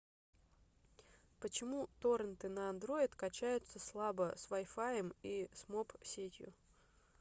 почему торенты на андроид качаются слабо с вайфаем и с моб сетью